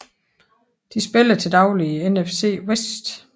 De spiller til dagligt i NFC West